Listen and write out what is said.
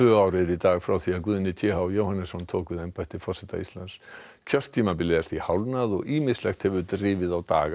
Guðni t h Jóhannesson tók við embætti forseta Íslands kjörtímabilið er því hálfnað og ýmislegt hefur drifið á daga forsetans